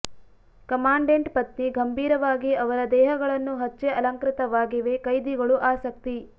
commandant ಪತ್ನಿ ಗಂಭೀರವಾಗಿ ಅವರ ದೇಹಗಳನ್ನು ಹಚ್ಚೆ ಅಲಂಕೃತವಾಗಿವೆ ಕೈದಿಗಳು ಆಸಕ್ತಿ